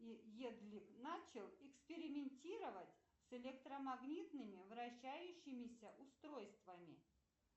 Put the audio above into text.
едли начал экспериментировать с электромагнитными вращающимися устройствами